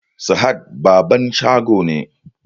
Sahad babban shago ne